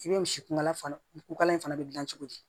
I bɛ misi kunkala fana kokala in fana bɛ dilan cogo di